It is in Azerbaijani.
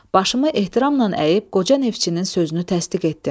Başımı ehtiramla əyib qoca neftçinin sözünü təsdiq etdim.